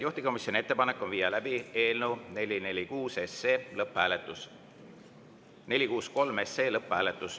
Juhtivkomisjoni ettepanek on viia läbi eelnõu 463 lõpphääletus.